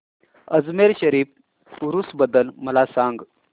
अजमेर शरीफ उरूस बद्दल मला सांग